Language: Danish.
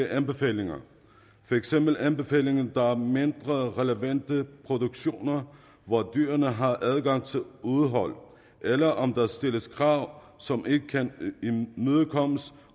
anbefalingerne for eksempel anbefalinger der er mindre relevante for produktioner hvor dyrene har adgang til udehold eller om der stilles krav som ikke kan imødekommes